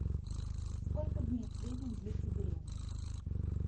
сколько дней в среднем длится беременность